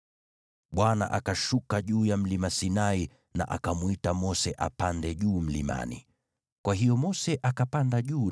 Bwana akashuka juu ya Mlima Sinai na akamwita Mose apande juu mlimani. Kwa hiyo Mose akapanda juu,